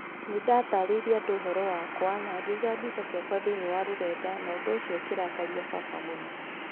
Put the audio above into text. Nĩ ndatarĩirie andũ ũhoro wakwa na ngĩiga mbica ciakwa thĩinĩ wa rũrenda na ũndũ ũcio ũkĩrakaria baba mũno.